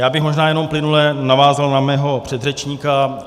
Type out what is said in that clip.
Já bych možná jenom plynule navázal na svého předřečníka.